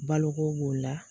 Baloko b'o la